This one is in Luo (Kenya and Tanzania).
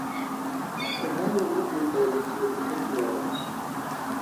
kogalonodhii mbele tiyo matek loyo